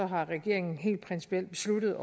regeringen helt principielt besluttet